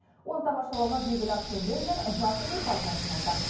оны тамашалауға белгілі актерлер мен жас өнерпаздар жиналды